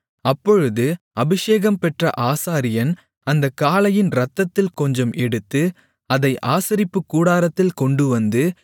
அப்பொழுது அபிஷேகம் பெற்ற ஆசாரியன் அந்தக் காளையின் இரத்தத்தில் கொஞ்சம் எடுத்து அதை ஆசரிப்புக்கூடாரத்தில் கொண்டுவந்து